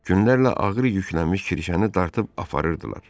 Günlərlə ağır yüklənmiş kirişəni dartıb aparırdılar.